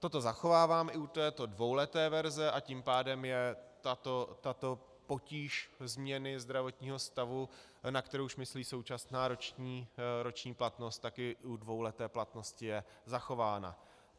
Toto zachovávám i u této dvouleté verze, a tím pádem je tato potíž změny zdravotního stavu, na kterou už myslí současná roční platnost, tak i u dvouleté platnosti je zachována.